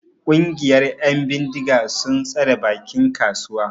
Ƙungiyar 'yan bindiga sun tsare bakin kasuwa.